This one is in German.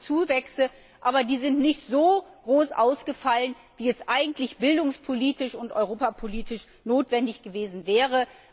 Ja, es gibt Zuwächse, aber die sind nicht so groß ausgefallen, wie es eigentlich bildungs und europapolitisch notwendig gewesen wäre.